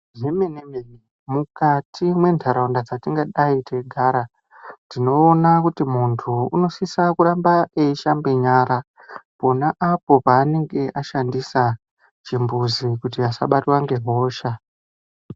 Zvemene-mene, mukati mwentharaunda dzetingadai te igara, tinoona kuti munthu unosise kuramba eishamba nyara, pona apo panenge ashandisa chimbuzi kuti asabatwa ngehosha.